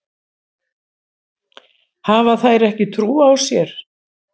Hafa þær ekki trú á sér?